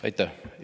Aitäh!